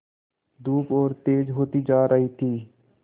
धूप और तेज होती जा रही थी